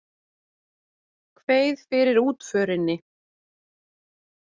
Kveið fyrir útförinni.